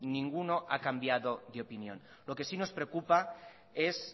ninguno ha cambiado de opinión lo que sí nos preocupa es